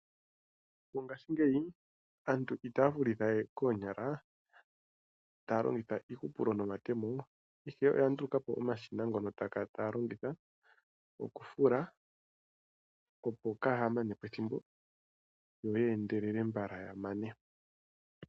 Mongaashingeyi aantu itaya fuluwe koonyala taya longitha iihupulo no matemo, ihe oya ndulukapo omashina ngoka taya kala taya longitha oku fula opo Kaya manepo ethimbo, yo ya endelele mbala ya mane.